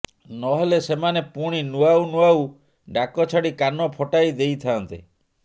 ନ ହେଲେ ସେମାନେ ପୁଣି ନୂଆଉ ନୂଆଉ ଡାକ ଛାଡ଼ି କାନ ଫଟାଇ ଦେଇଥାଆନ୍ତେ